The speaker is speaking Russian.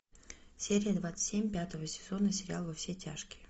серия двадцать семь пятого сезона сериал во все тяжкие